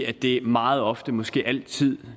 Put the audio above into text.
er det meget ofte måske altid